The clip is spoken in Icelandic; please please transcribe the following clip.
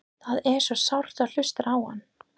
Það er svo sárt að hlusta á hann.